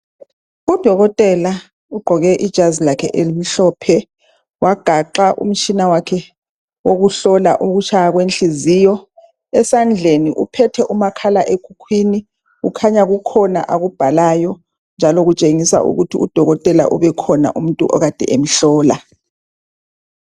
Udokotela ugqoke ijazi lakhe elimhlophe, wagaxa umtshina wakhe wokuhlola ukutshaya kwenhliziyo, esandleni uphethe umakhalekhukhwini, kukhanya kukhona akubhalayo njalo kutshengisa ukuthi udokotela kukhona umuntu okade emhlola.